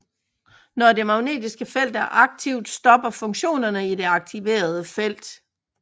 Når det magnetiske felt er aktivt stopper funktioner i det aktiverede felt